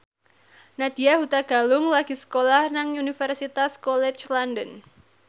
Nadya Hutagalung lagi sekolah nang Universitas College London